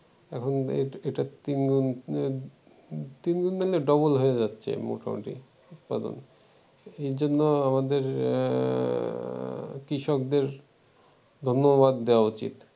এখন এটা তিনগুণ তিনগুণ না হলেও ডাবল হয়ে যাচ্ছে মোটামুটি উৎপাদন এজন্য আমাদের আহ কৃষকদের ধন্যবাদ দেওয়া উচিত